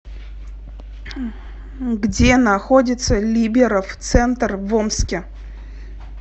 где находится либеров центр в омске